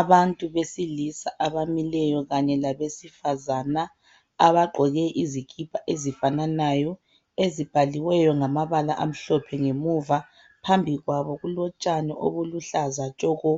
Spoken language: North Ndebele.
Abantu besilisa abamileyo kanye labesifazana abagqoke izikipa ezifananayo ezibhaliweyo ngamabala amhlophe ngemuva phambi kwabo kulotshani obuluhlaza tshoko